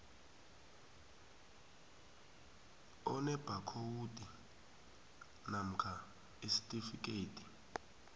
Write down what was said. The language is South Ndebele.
enebhakhowudi namkha isitifikhethi